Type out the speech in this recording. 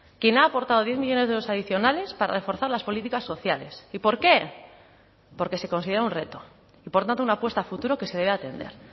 quien ha aportado diez millónes de los adicionales para reforzar las políticas sociales y por qué porque se considera un reto y por tanto una apuesta a futuro que se debe atender